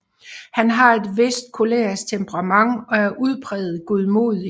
Han har et vist kolerisk temperament og er udpræget godmodig